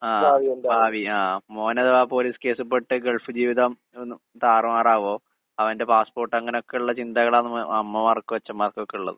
ആഹ് ഭാവി ആഹ് മോനഥവാ പോലീസ് കേസിൽ പെട്ട് ഗൾഫ് ജീവിതം ഒന്ന് താറുമാറാകുവോ? അവന്റെ പാസ്പോർട്ട് അങ്ങനൊക്കിള്ള ചിന്തകള് ആണ് അമ്മമാർക്കും അച്ചന്മാർക്കുവൊക്കെ ഇള്ളത്.